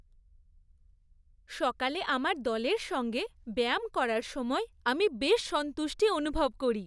সকালে আমার দলের সঙ্গে ব্যায়াম করার সময় আমি বেশ সন্তুষ্টি অনুভব করি।